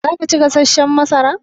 Za ka ci gasashshan masara?